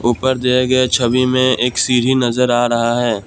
ऊपर दिया गया छवि में एक सीढ़ी नजर आ रहा है।